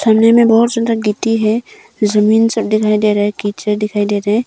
सामने में बहुत ज्यादा गिट्टी है जमीन सब दिखाई दे रहा है कीचड़ दिखाई दे रहे हैं।